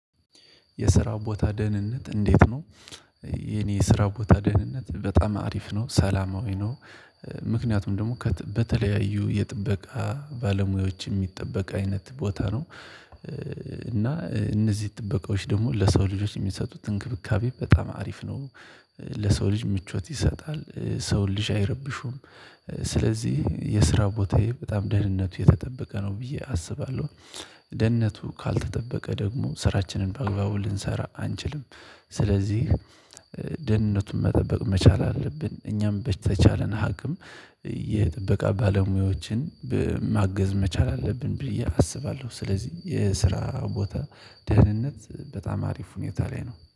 የስራ ቦታ ደህንነት እንዴት ነው የኔ የስራ ቦታ ደህንነት በጣም አሪፍ ነው ሰላማዊ ነው። ምክንያቱም ደግሞ በተለያዩ የጥበቃ ባለሙያዎች የሚጠበቅ አይነት ቦታ ነው እና እነዚህ ጥበቃዎች ደግሞ ለሰው ልጆች የሚሰጡት እንክብካቤ በጣም አሪፍ ነው ለሰው ልጅ ምቾት ይሰጣል ሰው ልጅ አይረብሹም ስለዚህ የስራ ቦታዬ በጣም ደህንነቱ የተጠበቀ ነው ብዬ አስባለሁ ደህንነቱ ካልተጠበቀ ደግሞ ስራችንን በአግባቡ ልንሰራ አንችልም ስለዚህ ደህንነቱን መጠበቅ መቻል አለብን እኛም በተቻለን ሀቅም የጥበቃ ባለሙያዎችን ማገዝ መቻል አለብን ብዬ አስባለሁ። ስለዚህ የስራ ቦታ ደህንነት በጣም አሪፍ ሁኔታ ላይ ነው።